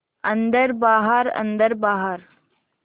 अन्दर बाहर अन्दर बाहर